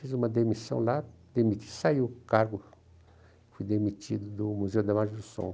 Fiz uma demissão lá, demiti, saiu o cargo, fui demitido do Museu da Imagem do Som.